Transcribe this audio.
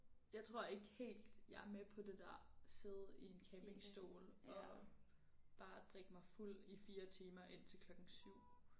Jeg tror ikke helt jeg er med på det der sidde i en campingstol og bare drikke mig fuld i 4 timer indtil klokken 7